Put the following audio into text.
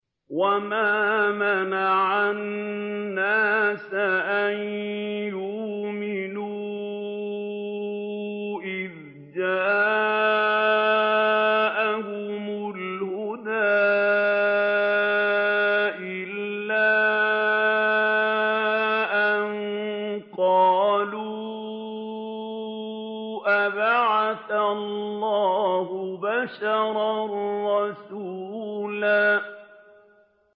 وَمَا مَنَعَ النَّاسَ أَن يُؤْمِنُوا إِذْ جَاءَهُمُ الْهُدَىٰ إِلَّا أَن قَالُوا أَبَعَثَ اللَّهُ بَشَرًا رَّسُولًا